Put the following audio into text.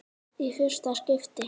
Í fyrsta skipti.